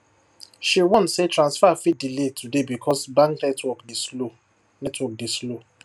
she warn say transfer fit delay today because bank network dey slow network dey slow